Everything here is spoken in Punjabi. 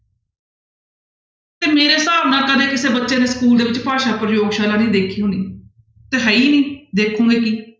ਤੇ ਮੇਰੇ ਹਿਸਾਬ ਨਾਲ ਕਦੇ ਕਿਸੇ ਬੱਚੇ ਨੇ school ਦੇ ਵਿੱਚ ਭਾਸ਼ਾ ਪ੍ਰਯੋਗਸ਼ਾਲਾ ਨੀ ਦੇਖੀ ਹੋਣੀ, ਦਿਖਾਈ ਹੀ ਨੀ ਦੇਖੋਂਗੇ ਕੀ।